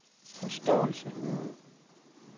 forståelse